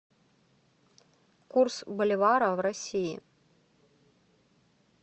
курс боливара в россии